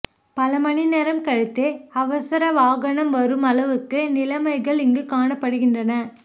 பல மணிநேரம் கழித்தே அவசரவாகனம் வரும் அளவுக்கு நிலைமைகள் இங்கு காணப்படுகின்ற